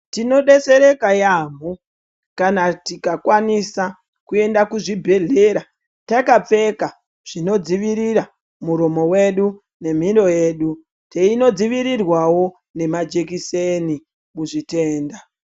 Tino detsereka yaamho kana tikakwanisa kuenda kuzvibhedhlera takapfeka zvino dzivirira muromo wedu nemhino yedu, teino dzivirirwawo nemajekiseni muzvitenda.